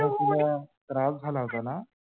ए त्रास झाला होता ना?